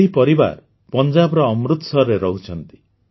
ଏହ ପରିବାର ପଞ୍ଜାବର ଅମୃତସରଠାରେ ରହୁଛନ୍ତି